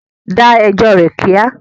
Da ẹjọ́ rẹ̀ kíá!